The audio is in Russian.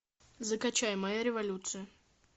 закачай моя революция